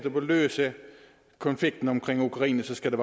løse konflikten omkring ukraine skal det